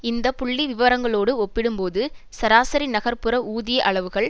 இந்த புள்ளி விவரங்களோடு ஒப்பிடும்போது சராசரி நகர்புற ஊதிய அளவுகள்